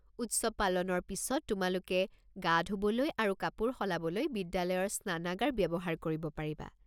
উৎসৱ পালনৰ পিছত তোমালোকে গা ধুবলৈ আৰু কাপোৰ সলাবলৈ বিদ্যালয়ৰ স্নানাগাৰ ব্যৱহাৰ কৰিব পাৰিবা।